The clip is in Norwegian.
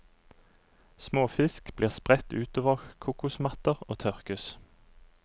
Småfisk blir spredt utover kokosmatter og tørkes.